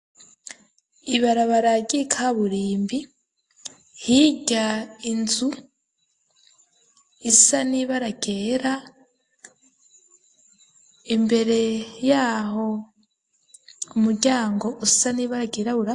Ibarabara ry'ikaburimbi, hirya inzu isa nibara ryera ,imbere y'aho umuryango usa n'ibara ryirabura